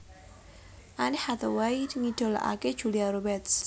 Anne hathaway ngidolakaké Julia Roberts